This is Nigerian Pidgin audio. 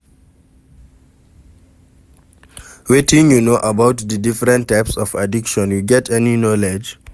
Wetin you know about di different types of addiction, you get any knowledge?